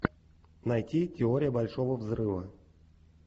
найти теория большого взрыва